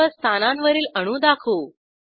सर्व स्थानांवरील अणू दाखवू